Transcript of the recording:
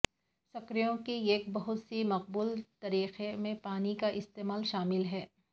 screw کی ایک بہت ہی مقبول طریقہ میں پانی کا استعمال شامل ہے